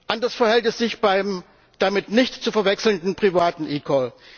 Anders verhält es sich beim damit nicht zu verwechselnden privaten eCall.